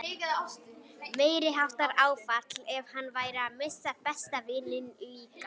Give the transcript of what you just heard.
Meiriháttar áfall ef hann færi að missa besta vininn líka.